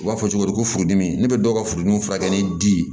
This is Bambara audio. U b'a fɔ cogo di ko furudimi ne be dɔw ka furudimi furakɛli di